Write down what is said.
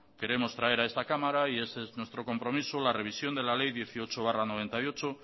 queremos traer a esta cámara y ese es nuestro compromiso la revisión de la ley dieciocho barra mil novecientos noventa y ocho